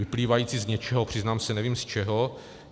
Vyplývající z něčeho, přiznám se, nevím z čeho.